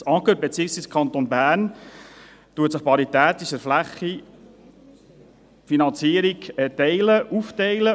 Das Amt für Gemeinden und Raumordnung (AGR), beziehungsweise der Kanton Bern teilt die Finanzierung paritätisch nach der Fläche der Pärke auf.